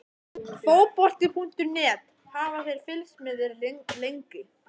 Fótbolti.net: Hafa þeir fylgst með þér lengi?